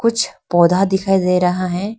कुछ पौधा दिखाई दे रहा है।